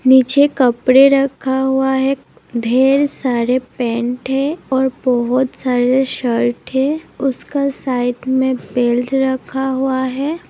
नीचे कपड़े रखा हुआ है ढेर सारे पैंट है और बहुत सारे शर्ट है उसका साइड में बेल्ट रखा हुआ है।